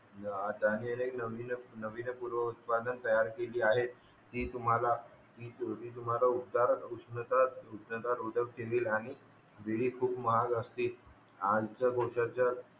त्यांनी एक त्यांनी एक नवीन नवीन पूर्व उत्पादन तयार केली आहे ती तुम्हाला उष्णता रोदक आणि विली खूप महाग असतील